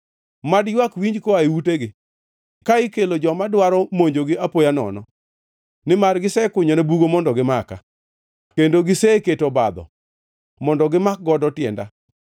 Mad ywak winji koa e utegi ka ikelo joma dwaro monjogi apoya nono, nimar gisekunyona bugo mondo gimaka kendo giseketo obadho mondo gimak godo tienda.